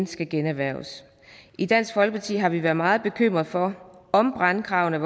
skal generhverves i dansk folkeparti har vi været meget bekymret for om brandkravene